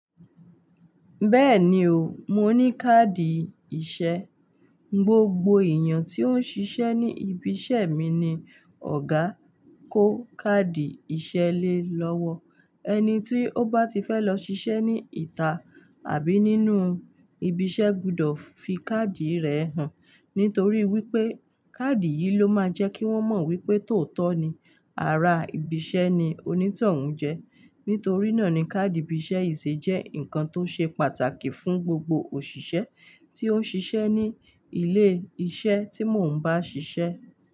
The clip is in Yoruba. Bẹ́ẹ̀ni o, mo ní káàdì ìṣe. Gbogbo èèyàn ti ó ń ṣiṣẹ́ ní ibi iṣẹ́ mi ni Ọ̀gá kó káàdì iṣẹ́ lé lọ́wọ́. Ẹni tí ó bá ti fẹ́ lọ ṣiṣẹ́ ní ìta àbí nínú ibi iṣẹ́ gbọdọ̀ fi káàdì rẹ̀ hàn, nítorí wípé káàdì yìí ló máa jẹ kí wón mọ̀ wípé tòótọ́ ni, ará ibi iṣẹ́ ni oní tòun jẹ́. Nítorí náà ni káàdì ibí ìṣe yii se jẹ́ ǹkan tó ṣe pàtàkì fún gbogbo òṣìṣẹ́ tí ó n ṣiṣẹ́ ní ilé iṣẹ́ tí mò ń bá ṣiṣẹ́.